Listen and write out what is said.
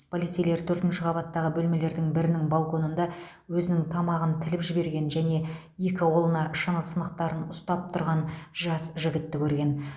полицейлер төртінші қабаттағы бөлмелердің бірінің балконында өзінің тамағын тіліп жіберген және екі қолына шыны сынықтарын ұстап тұрған жас жігітті көрген